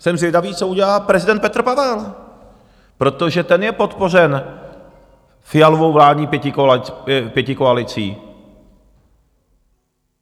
Jsem zvědavý, co udělá prezident Petr Pavel, protože ten je podpořen Fialovou vládní pětikoalicí.